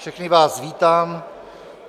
Všechny vás vítám.